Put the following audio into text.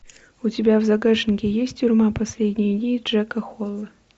у тебя в загашнике есть тюрьма последние дни джека холла